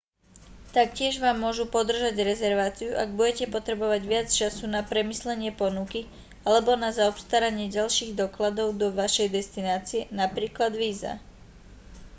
taktiež vám môžu podržať rezerváciu ak budete potrebovať viac času na premyslenie ponuky alebo na zaobstaranie ďalších dokladov do vašej destinácie napr. víza